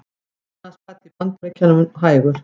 Efnahagsbati í Bandaríkjunum hægur